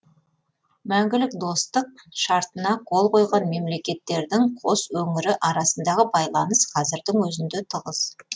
мәңгілік достық шартына қол қойған мемлекеттердің қос өңірі арасындағы байланыс қазірдің өзінде тығыз